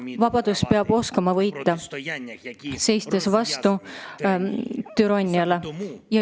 Vabadus peab oskama võita, seistes vastu türanniale.